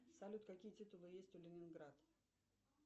салют какие титулы есть у ленинград